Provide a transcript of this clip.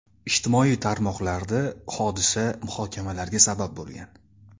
Ijtimoiy tarmoqlarda hodisa muhokamalarga sabab bo‘lgan.